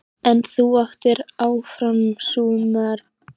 En þú áttir áfram sumarbústaðinn í